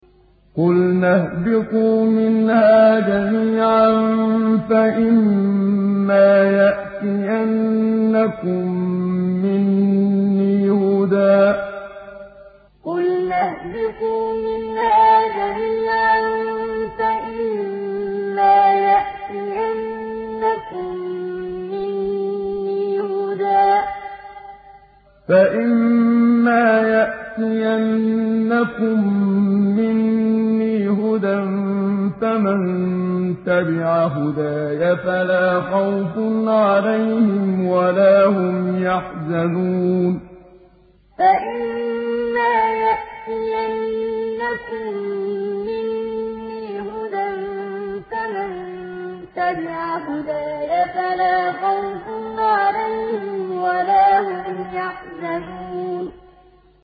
قُلْنَا اهْبِطُوا مِنْهَا جَمِيعًا ۖ فَإِمَّا يَأْتِيَنَّكُم مِّنِّي هُدًى فَمَن تَبِعَ هُدَايَ فَلَا خَوْفٌ عَلَيْهِمْ وَلَا هُمْ يَحْزَنُونَ قُلْنَا اهْبِطُوا مِنْهَا جَمِيعًا ۖ فَإِمَّا يَأْتِيَنَّكُم مِّنِّي هُدًى فَمَن تَبِعَ هُدَايَ فَلَا خَوْفٌ عَلَيْهِمْ وَلَا هُمْ يَحْزَنُونَ